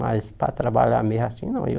Mas para trabalhar mesmo assim, não. Eu